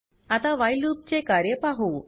आता while loop चे कार्य पाहु